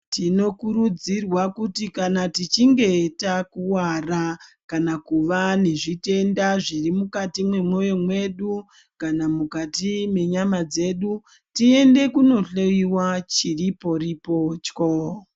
Tinokurudzirwa kuti kana tichinge takuwara kana kuva nezvitenda zviri mwukati mwemoyo mwedu kana mukati mwenyama dzedu tiyende kunohloyiwa chiri pori potyo.